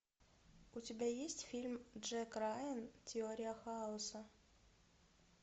у тебя есть фильм джек райан теория хаоса